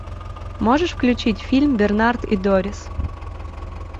можешь включить фильм бернард и дорис